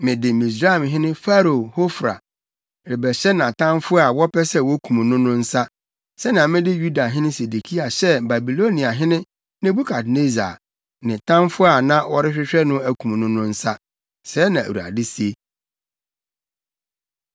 ‘Mede Misraimhene Farao Hofra rebɛhyɛ nʼatamfo a wɔpɛ sɛ wokum no no nsa, sɛnea mede Yudahene Sedekia hyɛɛ Babiloniahene Nebukadnessar, ne tamfo a na ɔrehwehwɛ no akum no no nsa. Sɛɛ na Awurade se.’ ”